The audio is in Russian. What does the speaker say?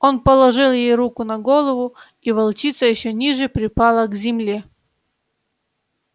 он положил ей руку на голову и волчица ещё ниже припала к земле